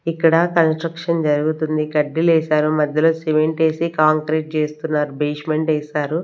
ఇక్కడ కన్స్ట్రక్షన్ జరుగుతుంది కడ్డిలు వేశారు మధ్యలో సిమెంట్ వేసి కాంక్రీట్ చేస్తున్నారు బేస్మెంట్ వేశారు .